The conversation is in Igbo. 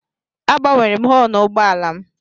Agbanwere m họọnụ ụgbọala m.